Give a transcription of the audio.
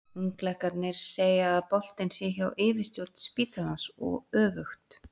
Unglæknarnir segja að boltinn sé hjá yfirstjórn spítalans og öfugt.